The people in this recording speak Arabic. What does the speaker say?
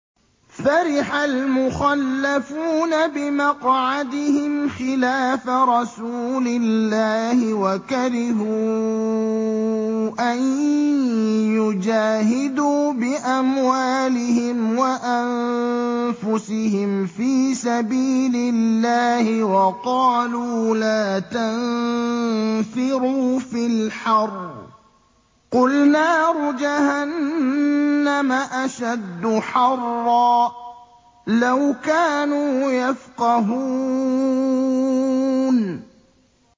فَرِحَ الْمُخَلَّفُونَ بِمَقْعَدِهِمْ خِلَافَ رَسُولِ اللَّهِ وَكَرِهُوا أَن يُجَاهِدُوا بِأَمْوَالِهِمْ وَأَنفُسِهِمْ فِي سَبِيلِ اللَّهِ وَقَالُوا لَا تَنفِرُوا فِي الْحَرِّ ۗ قُلْ نَارُ جَهَنَّمَ أَشَدُّ حَرًّا ۚ لَّوْ كَانُوا يَفْقَهُونَ